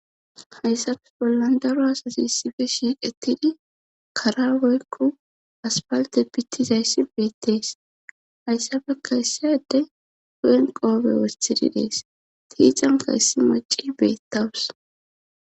hayssafes bollan daro asasi issife shiiqettidi karawoykku aspalte bittizayssi beettees hayssafekka issaade hu7en qoobe westididees tiicanka yssi maci beettawus